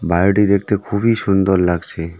বাড়িটি দেখতে খুবই সুন্দর লাগছে.